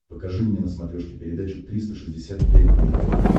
покажи мне на смотрешке передачу триста шестьдесят пять дней тв